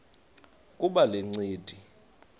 kuba le ncindi